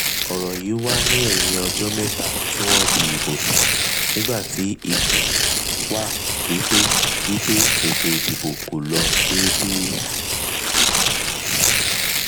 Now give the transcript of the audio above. ọ̀rọ̀ yí wà ní ẹ̀yìn ọjọ́ mẹ́ta tí wọ́n dì ìbò tàn nígbà tí ikùn wá wípé wípé ètò ìdìbò kò lọ dédé.